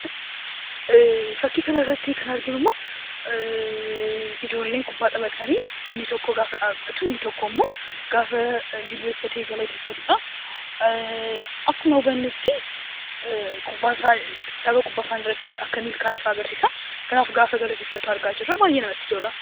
Fakkii kanarratti kan arginu immoo ijoolleen kubbaa taphatanii inni tokko gaafa dhaabbatu, inni tokko immoo jilbeenfatee galateeffatudha. Akkuma hubannutti tapha kubbaa isaaniirratti akka milkaa’e fa'aa agarsiisa. Kanaaf yeroo galateeffatu argaa jirra baay'ee namatti tola.